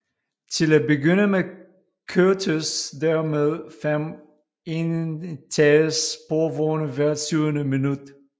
Til at begynde med kørtes der med fem enetages sporvogne hvert syvende minut